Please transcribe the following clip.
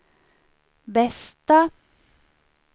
bästa